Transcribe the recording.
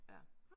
Ja